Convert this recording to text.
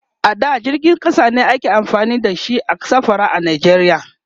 a da jirgin ƙasa ne ake amfani da shi a safara a nigeria